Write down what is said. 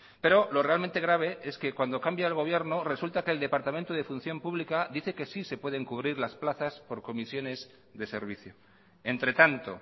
pero lo realmente grave es que cuando cambia el gobierno resulta que el departamento de función pública dice que sí se pueden cubrir las plazas por comisiones de servicio entre tanto